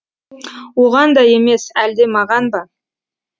оған да емес әлде маған ба